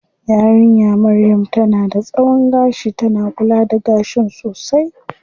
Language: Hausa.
Yarinya maryam tana da tsawon gashi, tana kula da gashin sosai.